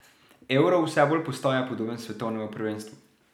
Euro vse bolj postaja podoben svetovnemu prvenstvu.